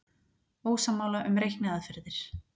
Ósammála um reikniaðferðir